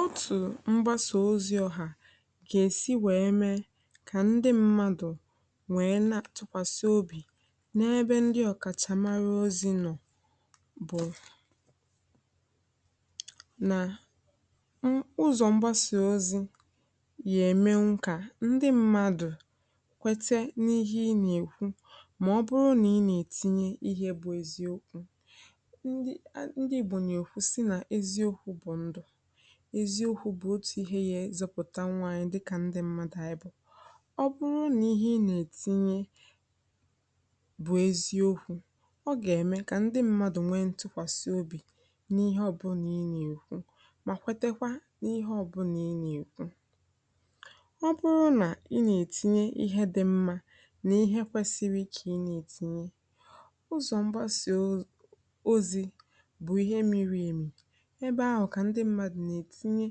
Otù mgbasa ozi̇ ọ̀hà gà-èsi wèe mee, kà ndị m̀madụ̀ wèe na-àtụkwasị obì n’ebe ndị ọ̀kàchàmara ozi nọ̀, bụ̀ nà um ụzọ̀ mgbasa ozi̇ yà-ème nkà, ndị mmadụ̀ kwete n’ihe ị nà-èkwu. Mà ọ bụrụ nà ị nà-ètinye ihe bụ̇ eziokwu̇ eziokwu̇ bụ̀ ndụ̀, eziokwu̇ bụ̀ otù ihe ya. Ezịpụ̀ta nwaànyị̀ dịkà ndị mmadụ̀ ànyị bụ̀, ọ bụrụ nà ihe ị nà-ètinye bụ̀ eziokwu̇, ọ gà-ème kà ndị mmadụ̀ nwee ntụkwàsị obì n’ihe ọ bụ nà ị nà-èkwu, mà kwetekwa n’ihe ọ bụ nà ị nà-èkwu... Ọ bụrụ nà ị nà-ètinye ihe dị mmȧ nà ihe kwesiri, kà ị nà-ètinye, ụzọ mgbasà ozi̇ bụ̀ ihe mmiri èmì um ebe ahụ kà ndị mmadụ̀ nà-ètinye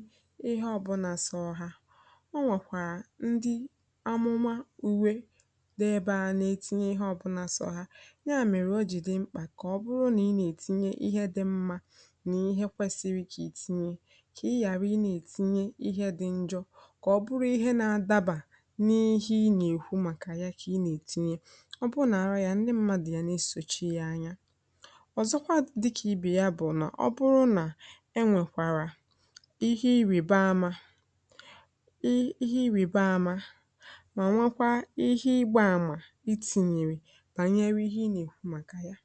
ihe ọbụna sọ ha. Ọ nwèkwà ndị amụma uwe dị ebe ha nà-ètinye ihe ọbụna sọ ha. Ya mèrè, o jì dị mkpà kà ọ bụrụ nà ị nà-ètinye ihe dị mmȧ nà ihe kwesiri kà ìtinye, kà ị ghàra i nà-ètinye ihe dị njọ̇, kà ọ bụrụ ihe nà-adabà n’ihe ị nà-èkwu. Màkà ya kà ị nà-ètinye, ọ bụrụ nà àrọ ya, ndị mmadụ ya nà-esòchie ya anya. Ọ̀zọkwa dị kà ibè ya bụ̀ nà, ọ bụrụ nà ihe irìba amȧ um ihe irìba amȧ mà nwekwaa ihe igbaàmà itìnyèrè bànyerù ihe nà-èkwu. um Màkà yà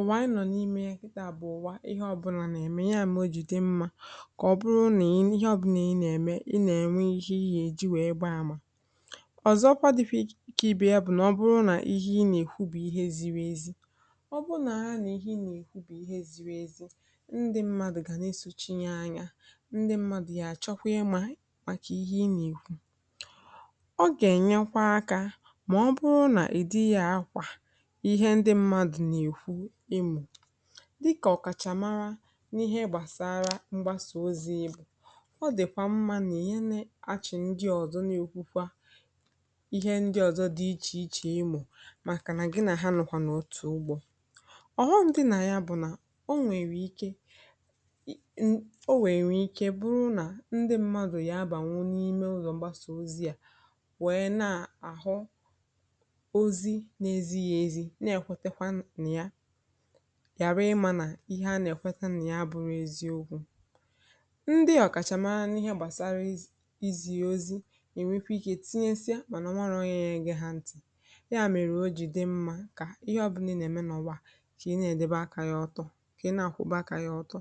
ùwànyè nọ̀ n’ime ya, kà ịtà bụ̀ ụ̀wa. Ihe ọbụlà nà-ème, ya mọ̀jụ̀, dị mmȧ, kà ọ bụrụ nà ihe ọbụlà nà-ème, ị nà-ènwe ihe, ihe èji wèe gbaàmà. Ọ̀zọkwa dị̇pị̇ kà ibè ya, bụ̀ nà, ọ bụrụ nà ihe nà-èkwu bụ̀ ihe ziri ezi, ndị mmadụ̀ ya àchọkwà ya. Màkà ihe ị nà-èkwu, ọ gà-ènyekwa akȧ, mà ọ bụrụ nà ìdighị̇ àkwà ihe ndị mmadụ̀ nà-èkwu, um ịmụ̀ dịkà ọkàchàmara n’ihe gbàsara mgbasà ozi̇, ịbụ̇ ọ dị̀kwà mmȧ nà ènye àchị̀. Ndị ọzọ nà-ekwukwa ihe ndị ọzọ dị iche iche, um ịmụ̀ màkà nà gị nà ha nọ̀kwà nà otù ugbȯ ọghọndị nà ya, bụ̀ nà o nwèrè ike... O nwèrè ike bụrụ nà, ndị mmadụ̀ yà abànwụ n’ime ụzọ̀ mgbasà ozi̇ yà, wèe na-àhụ ozi̇ na-ezighi̇ ezi, na-èkwetekwa nà yà ghàra ịmȧ nà ihe a nà-èkweta nà ya, bụrụ ezi ugwu. Ndị ọ̀kàchàmara nà ihe gbàsara izì ya ozi̇, ẹ̀ nwẹpụ̀ ikė, tinye nsịa, bụ̀ nà nwarà onye yà gị̇, ha ntì, ya mèrè. Ojì dị mmȧ kà ihe ọbụ̇nà dị nà ẹ̀mẹnọwa, kà ihe à dẹbà akȧ yà ọtọ, kà ihe à kwụbụ akȧ yà ọtọ